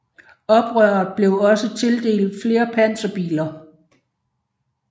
Oprøret blev også tildelt flere panserbiler